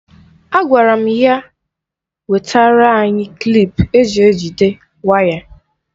Agwara m ya wetara anyị klip eji ejide waya.